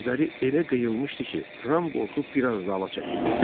Gözləri elə qıyılmışdı ki, Ram qorxub biraz dala çəkildi.